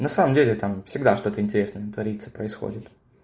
на самом деле там всегда что-то интересное творится происходит